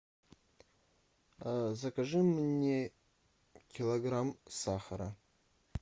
закажи мне килограмм сахара